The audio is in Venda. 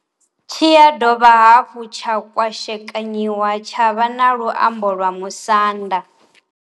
Tshi ya dovha hafhu tsha kwashekanyiwa tsha vha na luambo lwa Musanda.